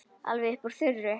Alveg upp úr þurru?